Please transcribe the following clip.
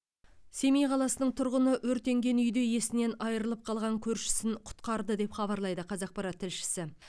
семей қаласының тұрғыны өртенген үйде есінен айырылып қалған көршісін құтқарды деп хабарлайды қазақпарат тілшісі